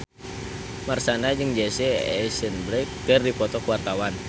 Marshanda jeung Jesse Eisenberg keur dipoto ku wartawan